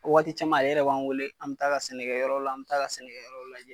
Waati caman a yɛrɛ b'an wele an bɛ taa a ka sɛnɛyɔrɔ la, an bɛ taa a ka sɛnɛyɔrɔ w lajɛ .